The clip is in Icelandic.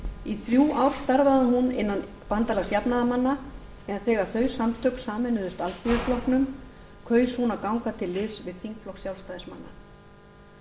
í þrjú ár starfaði hún innan bandalags jafnaðarmanna en þegar þau samtök sameinuðust alþýðuflokknum kaus hún að ganga til liðs við þingflokk sjálfstæðismanna